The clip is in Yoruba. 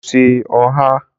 mo se oha.